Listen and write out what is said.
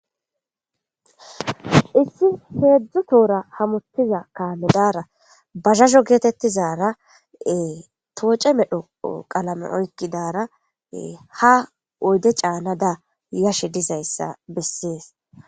issi heedzdzu toora hamutiza kaamedara bazhasho geetettizara tooce medho qalame oykkidara ha oyde caanada yashe dizayssa bessees